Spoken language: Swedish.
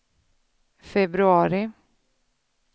februari